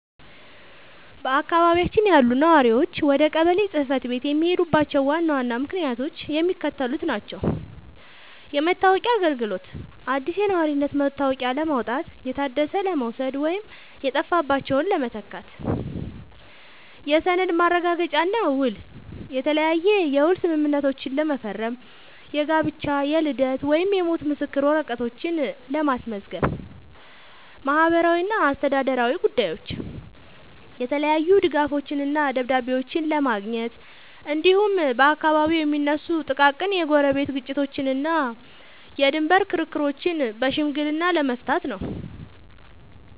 በአካባቢያችን ያሉ ነዋሪዎች ወደ ቀበሌ ጽሕፈት ቤት የሚሄዱባቸው ዋና ዋና ምክንያቶች የሚከተሉት ናቸው፦ የመታወቂያ አገልግሎት፦ አዲስ የነዋሪነት መታወቂያ ለማውጣት፣ የታደሰ ለመውሰድ ወይም የጠፋባቸውን ለመተካት። የሰነድ ማረጋገጫና ውል፦ የተለያየ የውል ስምምነቶችን ለመፈረም፣ የጋብቻ፣ የልደት ወይም የሞት ምስክር ወረቀቶችን ለማስመዝገብ። ማህበራዊና አስተዳደራዊ ጉዳዮች፦ የተለያዩ ድጋፎችንና ደብዳቤዎችን ለማግኘት፣ እንዲሁም በአካባቢው የሚነሱ ጥቃቅን የጎረቤት ግጭቶችንና የድንበር ክርክሮችን በሽምግልና ለመፍታት ነው።